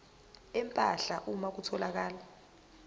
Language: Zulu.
empahla uma kutholakala